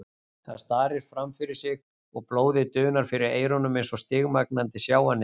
Hann starir framfyrir sig og blóðið dunar fyrir eyrunum eins og stigmagnandi sjávarniður.